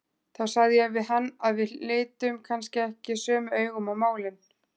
Þá sagði ég við hann að við litum kannski ekki sömu augum á málin.